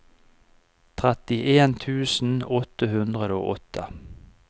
trettien tusen åtte hundre og åtte